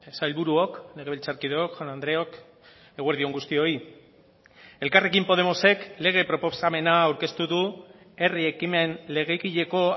sailburuok legebiltzarkideok jaun andreok eguerdi on guztioi elkarrekin podemosek lege proposamena aurkeztu du herri ekimen legegileko